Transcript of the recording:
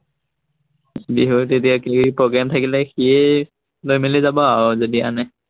বিহুত এতিয়া কিবাকিবি প্ৰগ্ৰেম থাকিলে সিয়েই লৈ মেলি যাব আৰু যদি আনে।